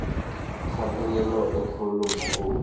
kgatelelo e kgolo mo go